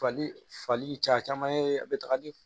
Fali fali caman ye a bɛ taga ni